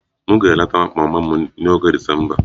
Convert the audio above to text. M ga-eleta mama m n'oge Disemba